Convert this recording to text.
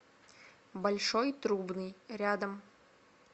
большой трубный рядом